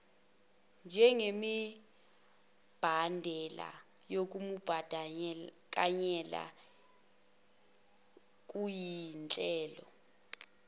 njengemibandela yokumbandakanyeka kuzinhlelo